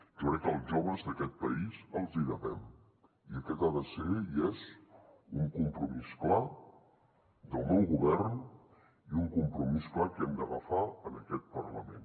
jo crec que als joves d’aquest país els hi devem i aquest ha de ser i és un compromís clar del meu govern i un compromís clar que hem d’agafar en aquest parlament